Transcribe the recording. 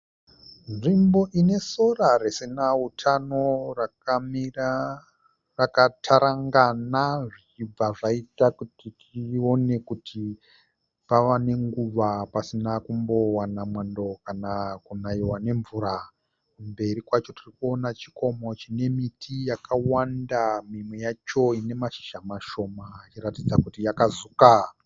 Nzvimbo inesora risina utano rakamira rakatarangana zvichibva zvaita kuti tione kuti pava nenguva pasina kumbowana mwando kana kunaiwa nemvura. Kumberi kwacho tirikuona chikomo chine miti yakawanda mimwe yacho inemashizha mashoma ichiratidza kuti yakazuka.